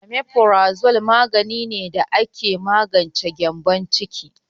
Omeprazole magani ne da ake magance gyembon ciki.